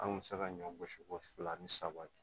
An kun bɛ se ka ɲɔ gosi fo fila ni saba cɛ